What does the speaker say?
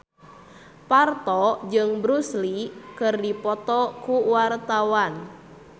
Parto jeung Bruce Lee keur dipoto ku wartawan